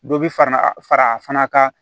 Dɔ bi fara a fara a fana kan